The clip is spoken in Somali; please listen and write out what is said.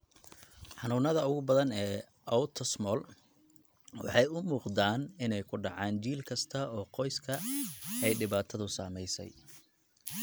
Xanuunada ugu badan ee autosomal waxay u muuqdaan inay ku dhacaan jiil kasta oo qoyska ay dhibaatadu saameysey.